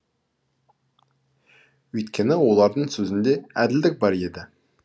өйткені олардың сөзінде әділдік бар еді